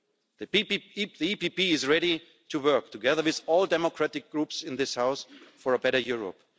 The EPP is ready to work together with all democratic groups in this House for a better Europe.